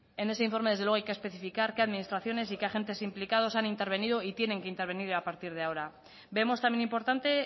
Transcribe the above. en ese informe desde luego hay que especificar qué administraciones y qué agentes implicados han intervenido y tienen que intervenir a partir de ahora vemos también importante